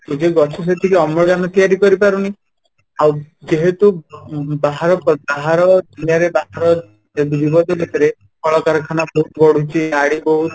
ଯଦି ଗଛ ସେତିକି ଅମ୍ଳଜାନ ତିଆରି କରିପାରୁନି ଆଉ ଯେହେତୁ କଳକାରଖାନା ବହୁତ ବଢୁଛି ଗାଡି ବହୁତ